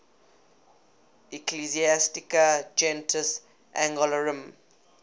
ecclesiastica gentis anglorum